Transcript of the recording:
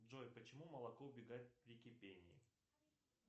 джой почему молоко убегает при кипении